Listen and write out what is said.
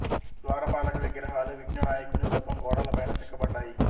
ద్వారపాలక విగ్రహాలు విఘ్న నాయకుని రూపం గోడల పైన చెక్కబడ్డాయి